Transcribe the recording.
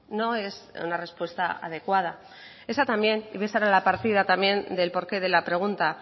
no es una respuesta adecuada esa también y esa era la partida también del porqué de la pregunta